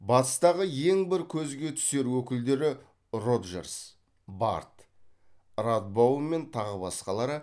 батыстағы ең бір көзге түсер өкілдері роджерс барт ратбоун мен тағы басқалары